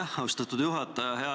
Aitäh, austatud juhataja!